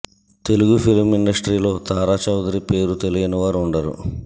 Telugu film ఇండస్ట్రీలో తారా చౌదరి పేరు తెలియని వారు ఉండరు